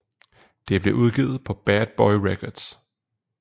Det blev udgivet på Bad Boy Records